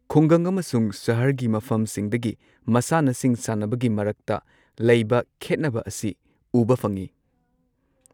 ꯈꯨꯡꯒꯪ ꯑꯃꯁꯨꯡ ꯁꯍꯔꯒꯤ ꯃꯐꯝꯁꯤꯡꯗꯒꯤ ꯃꯁꯥꯟꯅꯁꯤꯡ ꯁꯥꯟꯅꯕꯒꯤ ꯃꯔꯛꯇ ꯂꯩꯕ ꯈꯦꯠꯅꯕ ꯑꯁꯤ ꯎꯕ ꯐꯪꯏ꯫